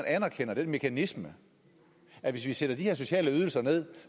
anerkender den mekanisme at hvis vi sætter de her sociale ydelser ned